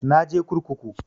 Na je kurkuku